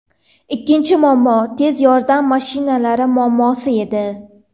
Ikkinchi muammo – tez yordam mashinalari muammosi edi.